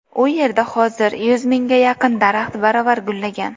U yerda hozir yuz mingga yaqin daraxt baravar gullagan.